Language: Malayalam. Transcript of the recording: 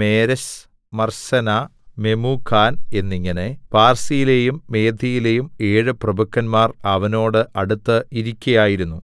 മേരെസ് മർസെനാ മെമൂഖാൻ എന്നിങ്ങനെ പാർസ്യയിലെയും മേദ്യയിലെയും ഏഴ് പ്രഭുക്കന്മാർ അവനോട് അടുത്ത് ഇരിക്കയായിരുന്നു